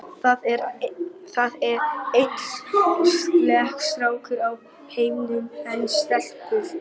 Það eru aðeins fleiri stákar í heiminum en stelpur.